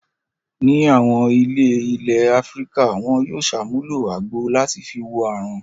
Ní àwọn ilé ilẹ̀ Áfíríkà wọn yóò ṣàmúlò àgbo làti fi wo àrùn.